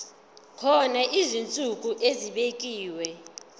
kukhona izinsuku ezibekiwe